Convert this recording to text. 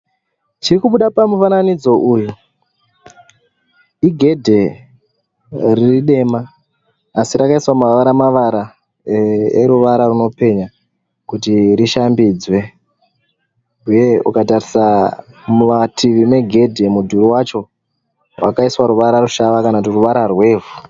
Chiri kubuda pamufananidzo uyu igedhe riri dema asi rakaiswa mavara mavara eruvara runopenya kuti rishambidzwe. Huye ukatarisa mumativi megedhe mudhuri wacho wakaiswa ruvara rushava kana kuti ruvara rwevhu.